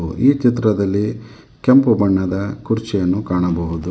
ಈ ಚಿತ್ರದಲ್ಲಿ ಕೆಂಪು ಬಣ್ಣದ ಕುರ್ಚಿಯನ್ನು ಕಾಣಬಹುದು.